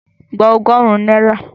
Gba ọgọ́rùn-ún náírà!